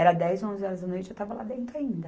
Era dez, onze horas da noite, eu estava lá dentro ainda.